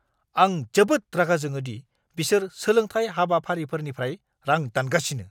आं जोबोद रागा जोङो दि बिसोर सोलोंथाय हाबाफारिफोरनिफ्राय रां दानगासिनो।